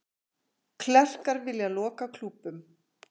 Klerkar vilja loka klúbbum